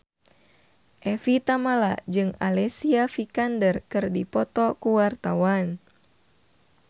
Evie Tamala jeung Alicia Vikander keur dipoto ku wartawan